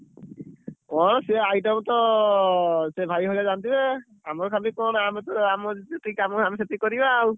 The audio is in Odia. କଣ ସେ item ତ ଭାଇ ମାନେ ଜାଣିଥିବେ। ଆମର ଖାଲି କଣ ଆମେତ ଆମର ଯେତିକି କାମ ସେତିକି କରିବା ଆଉ।